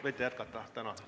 Võite jätkata!